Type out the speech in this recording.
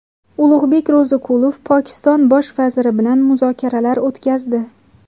Ulug‘bek Ro‘ziqulov Pokiston bosh vaziri bilan muzokaralar o‘tkazdi.